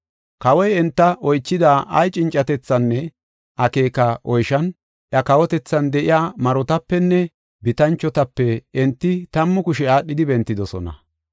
Kawoy enta oychida ay cincatethaanne akeeka oyshan, iya kawotethan de7iya marotapenne bitanchotape enti tammu kushe aadhidi bentidosona.